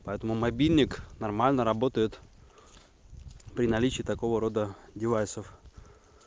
поэтому мобильник нормально работает при наличии такого рода девайсов